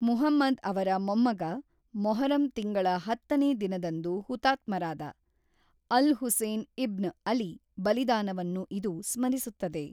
ಮುಹಮ್ಮದ್‌ ಅವರ ಮೊಮ್ಮಗ, ಮೊಹರಂ ತಿಂಗಳ ಹತ್ತನೇ ದಿನದಂದು ಹುತಾತ್ಮರಾದ, ಅಲ್-ಹುಸೇನ್ ಇಬ್ನ್ ಅಲಿ ಬಲಿದಾನವನ್ನು ಇದು ಸ್ಮರಿಸುತ್ತದೆ.